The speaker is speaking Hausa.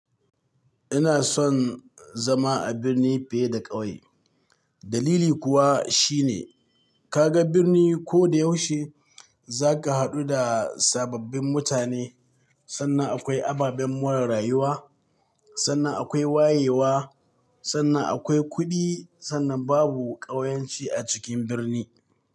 Ina son zama a birni fiye da ƙauye. Dalili kuwa shine kaga birni ko da yaushe za ka haɗu da sababbin mutane. Sannan akwai ababen more rayuwa, sannan akwai wayewa, sannan akwai kuɗi, sannan babu ƙauyanci a cikin birni.